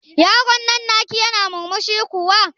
Yaron nan na ki yana murmushi kuwa?